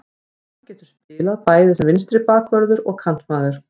Hann getur spilað bæði sem vinstri bakvörður og kantmaður.